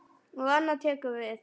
Og annað tekur við.